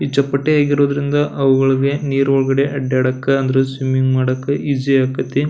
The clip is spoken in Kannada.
ಈ ಚಪ್ಪಟೆ ಆಗಿರೋದ್ರಿಂದ ಅವುಗಳಿಗೆ ನಿರೊಳ್ಗಡೆ ಅಡ್ಡಾಡಕ್ಕೆ ಅಂದ್ರೆ ಸ್ವಿಮ್ಮಿಂಗ್ ಮಾಡಾಕೆ ಇಸೀ ಆಕತ್ತಿ.